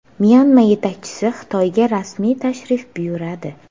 Myanma yetakchisi Xitoyga rasmiy tashrif buyuradi.